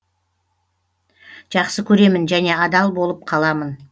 жақсы көремін және адал болып қаламын